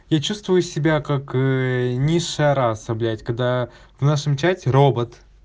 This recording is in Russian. я чувствую себя как ээ низшая раса блять когда в нашем чате робот